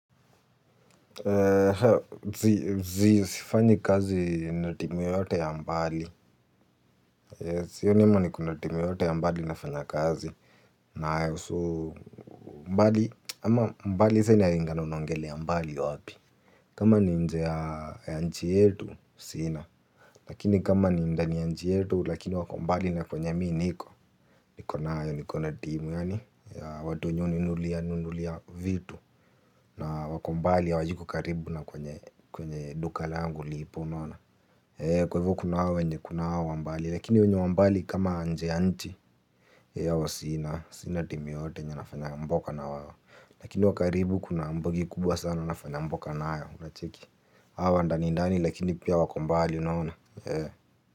Zi sifanyi kazi na timu yoyote ya mbali. Sioni kama niko na timu yote ya mbali nafanya kazi. Nayo so mbali ama mbali sa inalingana unaongelea mbali wapi. Kama ni nje ya nchi yetu sina. Lakini kama ni ndani ya nchi yetu lakini wako mbali na kwenye mii niko. Nikona ya niko na timu yaani ya watu wenye huninunulia nulia vitu. Na wako mbali hawayuko karibu na kwenye duka langu lipo unaona. Eeeh kwa hivo kuna hawa wenye kuna hawa wa mbali lakini wenye wa mbali kama nje ya nchi. Hao sina, sina timu yoyote yenye nafanya mboka na wao. Lakini wa karibu kuna mbogi kubwa sana nafanya mboka nayo unacheki. Hawa wa ndanindani lakini pia wako mbali unaona. Eeeh.